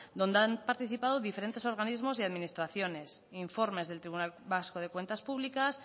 donde han participado diferentes organismos y administraciones informes del tribunal vasco de cuentas públicas